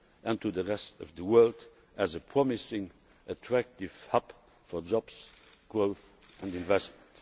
and to the rest of the world as a promising, attractive hub for jobs, growth and investment.